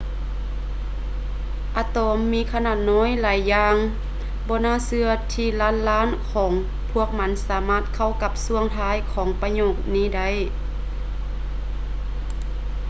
ອະຕອມມີຂະໜາດນ້ອຍຫຼາຍຢ່າງບໍ່ໜ້າເຊື່ອທີ່ລ້ານລ້ານຂອງພວກມັນສາມາດເຂົ້າກັບຊ່ວງທ້າຍຂອງປະໂຫຍກນີ້ໄດ້